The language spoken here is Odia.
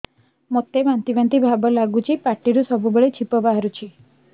ମୋତେ ବାନ୍ତି ବାନ୍ତି ଭାବ ଲାଗୁଚି ପାଟିରୁ ସବୁ ବେଳେ ଛିପ ବାହାରୁଛି